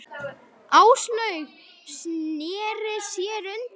Áslaug sneri sér undan.